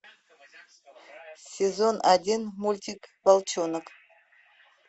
сезон один мультик волчонок